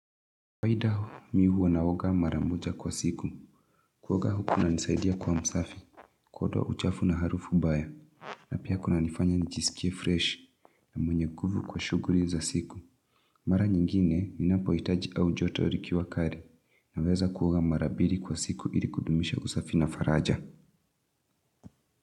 Kawaida, mi huwa naoga mara moja kwa siku. Kuoga kunanisaidia kuwa msafi. Kuondoa uchafu na harufu mbaya. Na pia kunanifanya nijisikie freshi. Na mwenye nguvu kwa shughuli za siku. Mara nyingine, ninapohitaji au joto likiwa kali. Naweza kuoga mara mbili kwa siku ili kudumisha usafi na faraja.